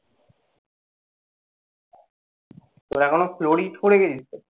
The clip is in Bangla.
এখন ও করে গেছিস তো?